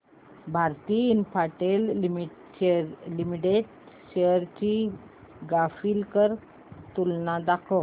Bharti Infratel Limited shares ची graphical तुलना दाखव